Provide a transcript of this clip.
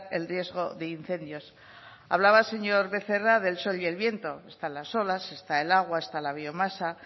el riesgo de incendios hablaba el señor becerra del sol y el viento están las olas está el agua está la biomasa